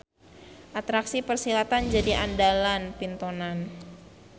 Atraksi persilatan jadi andalan pintonan.